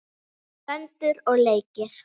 Föndur og leikir.